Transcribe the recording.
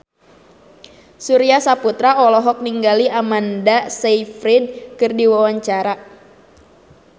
Surya Saputra olohok ningali Amanda Sayfried keur diwawancara